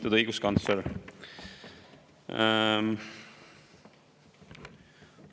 Lugupeetud õiguskantsler!